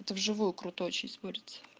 это вживую круто очень смотрится